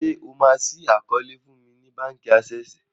ṣe o ma ṣii àkọọlẹ fún ní bánkì Access?